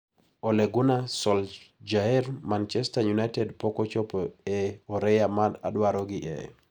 Ole Gunnar Solsjaer: Mancherster United pok ochopo e oreya ma adwarogi e.